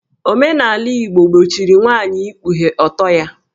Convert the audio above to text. Omenala Igbo gbochiri nwaanyị ikpughe ọtọ ya